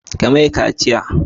Ka mai kaciya!